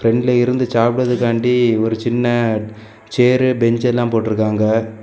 பிரண்ட்ல இருந்து சாப்பிடறதுக்காண்டி ஒரு சின்ன சேறு பெஞ்ச் எல்லாம் போட்டு இருக்காங்க.